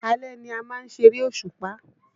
Alẹ́ ni a má ń ṣeré òṣùpá